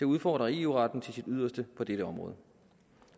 udfordre eu retten til sit yderste på dette område